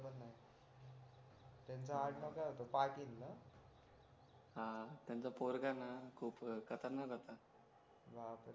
त्यांचा आडनाव काय होतं पाटील ना हा त्यांचा पोरगा न खूप खतरनाक होतं